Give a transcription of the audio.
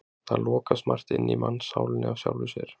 Það lokast margt inni í mannssálinni af sjálfu sér.